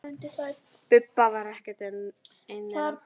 Bubba var ekki einn þeirra.